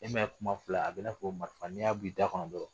E ma ye kuma filɛ a bi na fɔ ko marifa ,n'i y'a b'i da kɔnɔ dɔrɔn